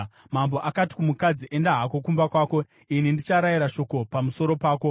Mambo akati kumukadzi, “Enda hako kumba kwako, ini ndicharayira shoko pamusoro pako.”